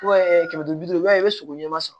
kɛmɛ duuru i b'a ye i bɛ sogo ɲɛma sɔrɔ